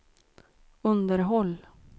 underhåll